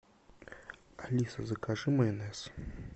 алиса закажи майонез